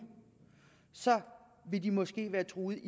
vil de måske være truet